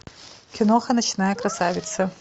киноха ночная красавица